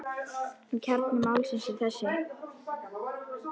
En kjarni málsins er þessi.